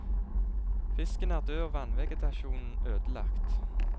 Fisken er død og vannvegetasjonen ødelagt.